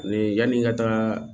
yani n ka taaga